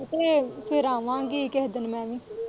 ਅਤੇ ਫੇਰ ਆਵਾਂਗੀ ਕੇਹੇ ਦਿਨ ਮੈਂ ਵੀ।